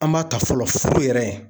An m'a ta fɔlɔ furu yɛrɛ